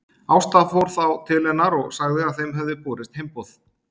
Ásta fór þá til hennar og sagði að þeim hefði borist heimboð.